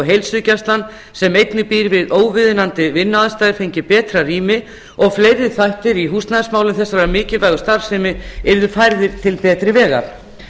heilsugæslan sem einnig býr við óviðunandi vinnuaðstæður fengi betra rými og fleiri þættir í húsnæðismálum þessarar mikilvægu starfsemi yrðu færðir til betri vegar